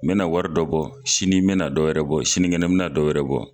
N be na wari dɔ bɔ ,sini n be na dɔwɛrɛ bɔ sinikɛnɛ n be na dɔwɛrɛ bɔ.